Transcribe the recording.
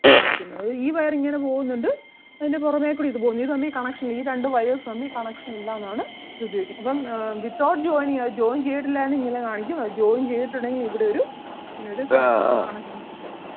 കാണിക്കുന്നത് അതായത് ഈ wire ഇങ്ങനെ പോകുന്നുണ്ട് അതിന് പുറമെ കൂടി ഇത് പോകുന്നു ഇത് തമ്മിൽ connection ഇല്ല ഈ രണ്ട് wires തമ്മിൽ connection ഇല്ല എന്നാണ് ഇത് ഉപയോഗിക്കുന്നത്. അപ്പം ആഹ് without joining അത് joint ചെയ്തിട്ടില്ല എങ്കിൽ ഇങ്ങനെ കാണിക്കും അത് joint ചെയ്തിട്ടുണ്ടെങ്കിൽ ഇവിടൊരു ഇങ്ങനൊരു connection connection symbol ഉം